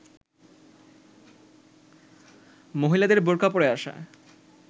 মহিলাদের বোরকা পরে আসা